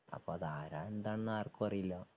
അപ്പൊ അതാരാ എന്താന്നൊന്നും ആർക്കും അറിയില്ല.